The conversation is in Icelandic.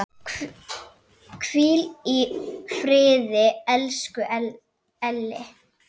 Hvíl í friði, elsku Elli.